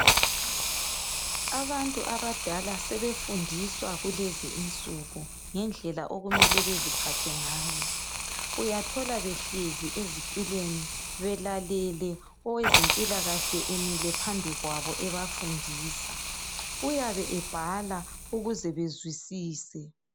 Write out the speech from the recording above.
Abantu abadala sebefundiswa kulezinsuku ngendlela okumele beziphathe ngayo. Uyathola behlezi ezitulweni belalele owezempilakahle emile phambi kwabo ebafundisa. Uyabe ebhala ukuze bezwisise.